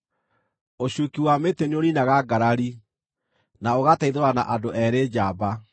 Ũcuuki wa mĩtĩ nĩũniinaga ngarari, na ũgateithũrana andũ eerĩ njamba.